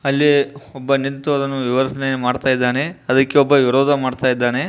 ಅಲ್ಲಿ ಒಬ್ಬ ನಿಂತು ಅದನ್ನ ವಿವರಣೆ ಮಾಡ್ತಾಯಿದಾನೆ ಅದಕ್ಕೆ ಒಬ್ಬ ವಿರೋಧ ಮಾಡ್ತಾಯಿದಾನೆ